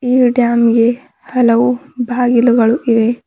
ಈ ಡ್ಯಾಮ್ ಗೆ ಹಲವು ಬಾಗಿಲುಗಳು ಇವೆ.